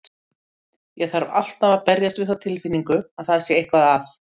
Ég þarf alltaf að berjast við þá tilfinningu að það sé eitthvað að.